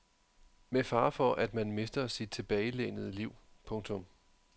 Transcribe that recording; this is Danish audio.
Med fare for at man mister sit tilbagelænede liv. punktum